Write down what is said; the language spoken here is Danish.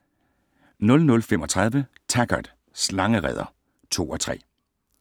00:35: Taggart: Slangereder (2:3)